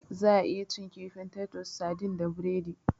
Za'a iya cin kifin "Titus sardines " da biredi.